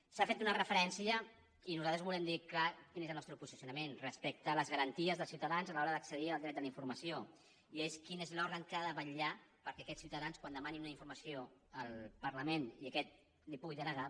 s’hi ha fet una referència i nosaltres volem dir clarament quin és el nostre posicionament respecte a les garanties dels ciutadans a l’hora d’accedir al dret a la informació i és quin és l’òrgan que ha de vetllar perquè aquests ciutadans quan demanin una informació al parlament i aquest la hi pugui denegar